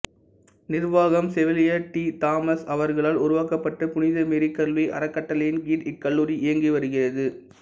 நிர்வாகம் chevalier T Thomas அவர்களால் உருவாக்கப்பட்ட புனித மேரி கல்வி அறக்கட்டளையின் கீழ் இக்கல்லூரி இயங்கிவருகிறது